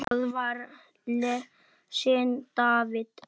Þar var lesinn David